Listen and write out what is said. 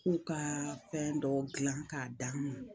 U ka fɛn dɔ dilan k'a d'an kun